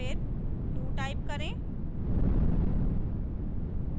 फिर do type करें